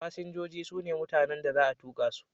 Fasinjoji su ne mutanen da za a tuka su.